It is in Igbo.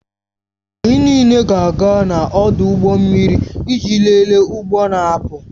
Anyị niile ga-aga n'ọdụ ụgbọ mmiri iji lelee ụgbọ na-apụ